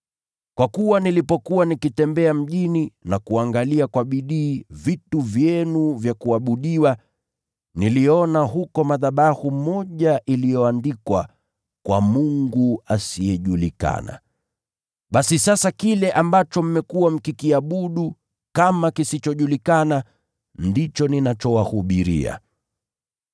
Kwa kuwa nilipokuwa nikitembea mjini na kuangalia kwa bidii vitu vyenu vya kuabudiwa, niliona huko madhabahu moja iliyoandikwa: Kwa Mungu Asiyejulikana . Basi sasa kile ambacho mmekuwa mkikiabudu kama kisichojulikana, ndicho ninachowahubiria.